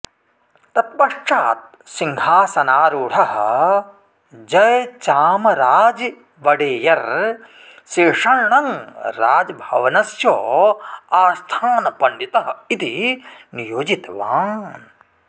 तत्पश्चात् सिंहासनारूढः जयचामराज वडेयर् शेषण्णं राजभवनस्य आस्थानपण्डितः इति नियोजितवान्